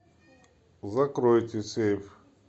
закройте сейф